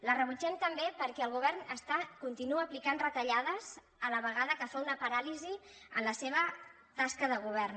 la rebutgem també perquè el govern continua aplicant retallades a la vegada que fa una paràlisi en la seva tasca de govern